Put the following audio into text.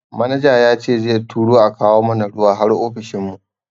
Manaja yace zai turo a kawo mana ruwa har ofishin mu.